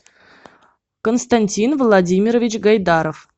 константин владимирович гайдаров